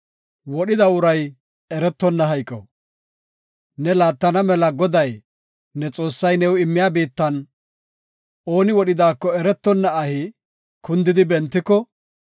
Ne laattana mela Goday, ne Xoossay new immiya biittan, ooni wodhidaako eretonna ahi kundidi bentiko,